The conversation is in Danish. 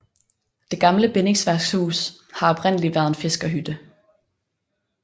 Det gamle bindingsværkshus har oprindelig været en fiskerhytte